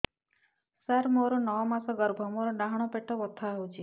ସାର ମୋର ନଅ ମାସ ଗର୍ଭ ମୋର ଡାହାଣ ପାଖ ପେଟ ବଥା ହେଉଛି